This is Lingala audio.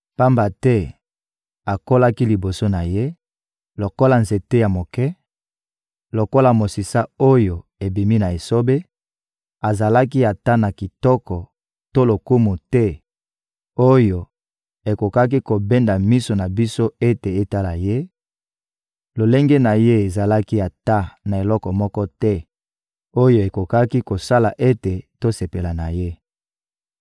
Pamba te akolaki liboso na Ye lokola nzete ya moke, lokola mosisa oyo ebimi na esobe; azalaki ata na kitoko to lokumu te oyo ekokaki kobenda miso na biso ete etala ye; lolenge na ye ezalaki ata na eloko moko te oyo ekokaki kosala ete tosepela na ye.